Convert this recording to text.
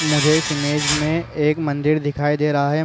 मुझे इस इमेज में एक मंदिर दिखाई दे रहा है।